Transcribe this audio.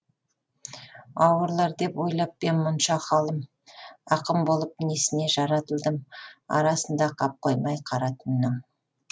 ауырлар деп ойлап па ем мұнша халім ақын болып несіне жаратылдым арасында қап қоймай қара түннің